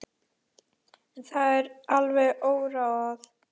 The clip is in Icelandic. En það er alveg óráðið.